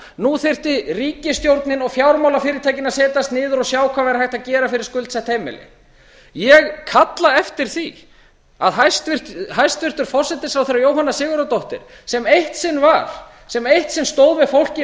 nú þyrfti ríkisstjórnin og fjármálafyrirtækin að setjast niður og sjá hvað væri hægt að gera fyrir skuldsett heimili ég kalla eftir því að hæstvirtur forsætisráðherra jóhanna sigurðardóttir sem eitt sinn var sem eitt sinn stóð með fólki í